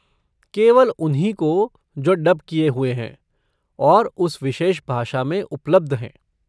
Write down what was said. केवल उन्हीं को जो डब किए हुए हैं और उस विशेष भाषा में उपलब्ध हैं।